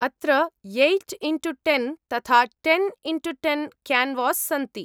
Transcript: अत्र eight into ten तथा ten into ten canvas सन्ति।